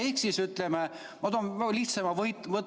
Ehk siis, ütleme, ma toon väga lihtsa.